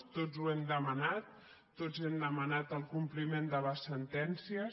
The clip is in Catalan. tots ho hem demanat tots hem demanat el compliment de les sentències